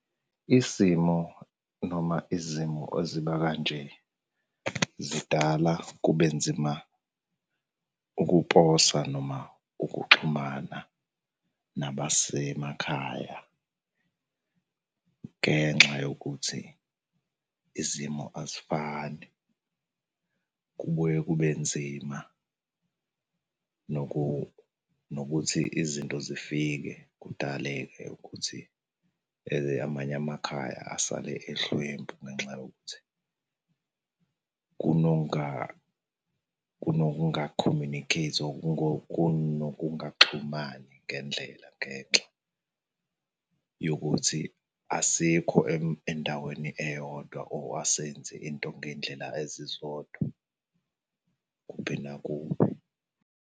Isimo noma izimo eziba kanje zidala kube nzima ukuposa noma ukuxhumana nabasemakhaya ngenxa yokuthi izimo azifani. Kubuye kube nzima nokuthi izinto zifike, kudaleke ukuthi amanye amakhaya asale ehlwempu ngenxa yokuthi kunokungakhomyunikheythi ngokunokungaxhumani ngendlela ngenxa yokuthi asikho endaweni eyodwa or asenzi into ngey'ndlela ezizodwa kube nakuwe.